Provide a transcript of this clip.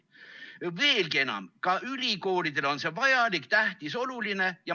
Veelgi enam, ka ülikoolidele on see vajalik, tähtis, oluline.